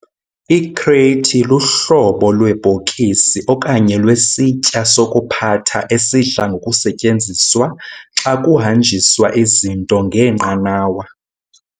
I-crate luhlobo lwebhokisi okanye lwesitya sokuphatha esidla ngokusetyenziswa xa kuhanjiswa izinto ngeenqanawa.